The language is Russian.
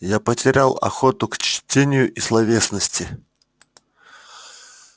я потерял охоту к чтению и словесности